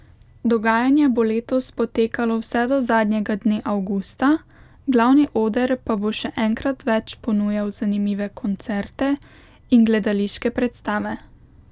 Dogajanje bo letos potekalo vse do zadnjega dne avgusta, glavni oder pa bo še enkrat več ponujal zanimive koncerte in gledališke predstave.